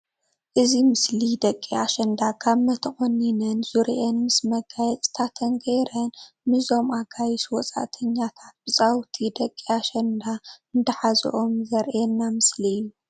እዚ ምስሊ ደቂ ኣሽኝዳ ጋመ ተቆኒነን ዙርየኣን ምስ መጋየፂታተን ገይረን ንዞም ኣጋይሽ ውፃኣተኛታት ብፃውታ ደቂ ኣሽንዳ እንዳሓዞም ዝርእይና ምስሊ እዩ ።